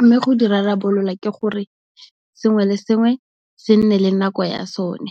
Mme go di rarabolola ke gore, sengwe le sengwe se nne le nako ya sone.